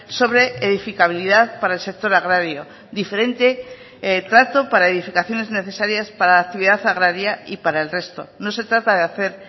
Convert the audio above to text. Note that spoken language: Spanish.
sobre edificabilidad para el sector agrario diferente trato para edificaciones necesarias para la actividad agraria y para el resto no se trata de hacer